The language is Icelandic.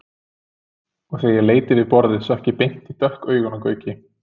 Og þegar ég leit yfir borðið sökk ég beint í dökk augun á Gauki.